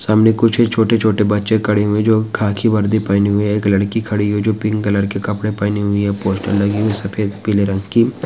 सामने कुछ छोटे-छोटे बच्चे खड़े हुए है जो खाकी वर्दी पहने हुए है एक लड़की खड़ी हुई है जो पिंक कलर के कपड़े पहनी हुई है पोस्टर लगी हुई है सफ़ेद पीले रंग की--